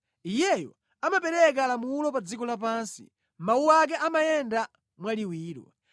Iyeyo amapereka lamulo pa dziko lapansi; mawu ake amayenda mwaliwiro.